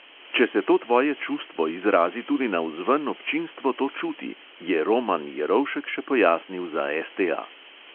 "Če se to tvoje čustvo izrazi tudi navzven, občinstvo to čuti, " je roman jerovšek še pojasnil za STA.